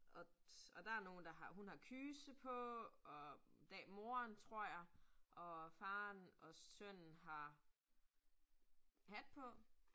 Og og der nogen, der har, hun har kyse på, og moren tror jeg, og faren og sønnen har hat på